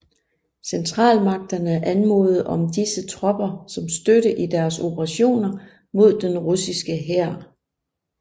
Centralmagterne anmodede om disse tropper som støtte i deres operationer mod den russiske hær